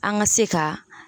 An ŋa se ka